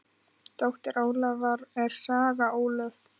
Dóttir Ólafar er Saga Ólöf.